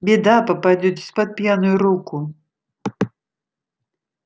беда попадётесь под пьяную руку